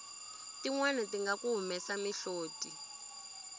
tinwani tinga ku humesa mihloti